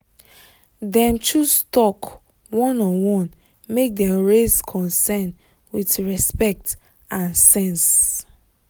dem choose talk one-on-one make dem raise concern with respect and sense